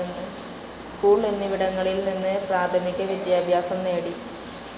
School എന്നിവിടങ്ങളിൽ നിന്ന് പ്രാഥമിക വിദ്യാഭ്യാസം നേടി.